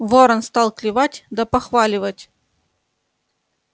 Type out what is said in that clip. ворон стал клевать да похваливать